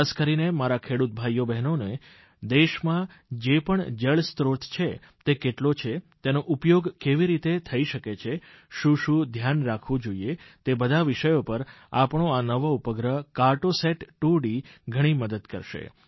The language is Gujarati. ખાસ કરીને મારા ખેડૂત ભાઇઓ બહેનોને દેશમાં જે પણ જળસ્ત્રોત છે તે કેટલો છે તેનો ઉપયોગ કેવી રીતે થઇ શકે છે શું શું ધ્યાન રાખવું જોઇએ તે બધા વિષયો પર આપણો આ નવો ઉપગ્રહ કેટ્રો સત 2D ઘણી મદદ કરશે